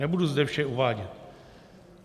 Nebudu zde vše uvádět.